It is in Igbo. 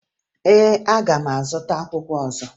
Ee, aga m azụta akwụkwọ ọzọ